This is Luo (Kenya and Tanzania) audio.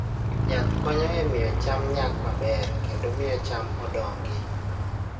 Yath konyo e miyo cham nyak maber kendo miyo cham odongi.